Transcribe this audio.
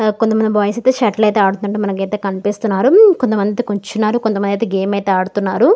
కొంతమంది బాయ్స్ అయితే షటిల్ ఆడుతూ మనకైతే కనిపిస్తున్నారు కొంతమంది కూర్చున్నారు కొంతమంది గేమ్ అయితే ఆడుతున్నారు.